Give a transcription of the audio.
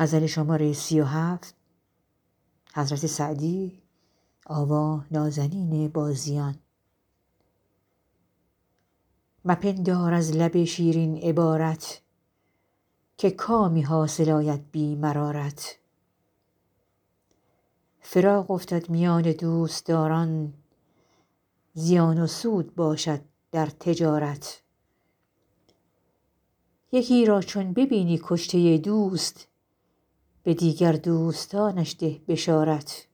مپندار از لب شیرین عبارت که کامی حاصل آید بی مرارت فراق افتد میان دوستداران زیان و سود باشد در تجارت یکی را چون ببینی کشته دوست به دیگر دوستانش ده بشارت